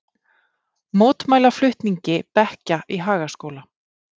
Mótmæla flutningi bekkja í Hagaskóla